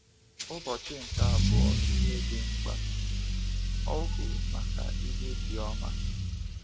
Ụbọchị nke Abụọ – Ihe Dị Mkpa: Ọhụụ Maka Ihe Dị Ọma